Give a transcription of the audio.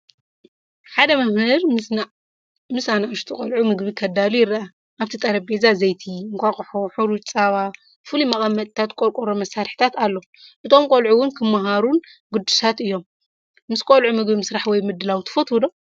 ሓደ መምህር ምስ ንኣሽቱ ቆልዑ ምግቢ ከዳሉ ይርአ። ኣብቲ ጠረጴዛ ዘይቲ፡ እንቋቑሖ፡ ሕሩጭ፡ ጸባ፡ ፍሉይ መቐመጢታትን ቆርቆሮ መሳርሒታትን ኣሎ። እቶም ቆልዑ እውን ክመሃሩን ጉዱሳት እዮም። ምስ ቆልዑ ምግቢ ምስራሕ ወይ ምድላው ትፈትዉ ዶ?